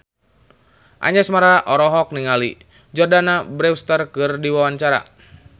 Anjasmara olohok ningali Jordana Brewster keur diwawancara